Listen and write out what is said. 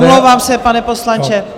Omlouvám se, pane poslanče.